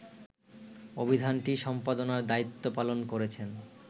অভিধানটি সম্পাদনার দায়িত্ব পালন করেছেন